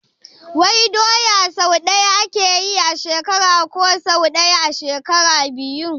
Wai doya sau ɗaya ake yi a shekara ko sau ɗaya a shekara biyu?